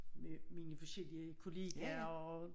Med mine forskellige kollegaer og øh